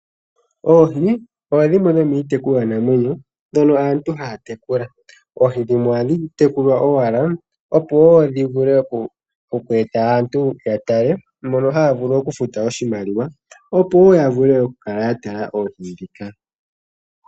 Oohi odho dhimwe dhomiitekulwanamwenyo ndhono aantu haya tekula. Oohi dhimwe ohadhi tekulwa owala, opo wondhi vule oku eta aantu ya tale mono haya vulu okufuta oshimaliwa, opo yo ya vule okukala ya tala oohi ndhika.